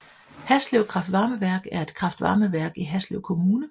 Haslev kraftvarmeværk er et kraftvarmeværk i Haslev Kommune